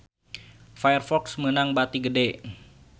Firefox meunang bati gede